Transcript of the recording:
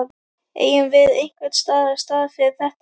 Eigum við einhvers staðar stað fyrir þetta?